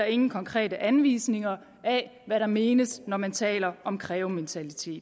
ingen konkrete anvisninger af hvad der menes når man taler om krævementalitet